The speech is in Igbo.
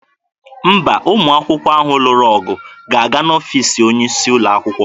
Mba, ụmụ akwụkwọ ahụ lụrụ ọgụ ga-aga n'ọfiisi onye isi ụlọ akwụkwọ.